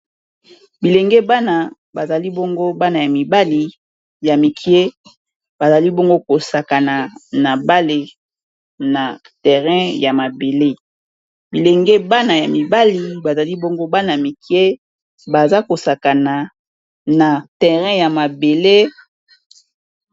Bilenge bana bazali bongo bana ya mibali ya mikie bazali bongo kosakana na bale na terrain ya mabele bilenge bana ya mibali bazali bongo bana ya mikie baza kosakana na terrain ya mabele.